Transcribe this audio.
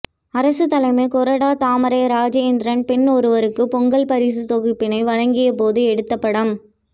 அரசு தலைமை கொறடா தாமரை ராஜேந்திரன் பெண் ஒருவருக்கு பொங்கல் பரிசு தொகுப்பினை வழங்கிய போது எடுத்த படம்